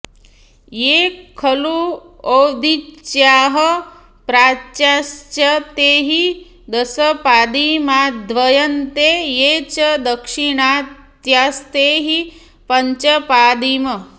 ये खलु औदीच्याः प्राच्याश्च ते हि दशपादीमाद्रियन्ते ये च दाक्षिणात्यास्ते हि पञ्चपादीम्